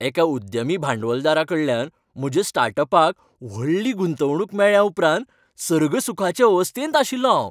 एका उद्यमी भांडवलदाराकडल्यान म्हज्या स्टार्टअपाक व्हडली गुंतवणूक मेळ्ळ्या उपरांत सर्गसुखाचे अवस्थेंत आशिल्लों हांव.